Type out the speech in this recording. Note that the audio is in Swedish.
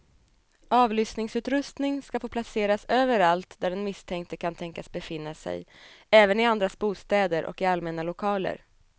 Avlyssningsutrustning ska få placeras överallt där den misstänkte kan tänkas befinna sig, även i andras bostäder och i allmänna lokaler.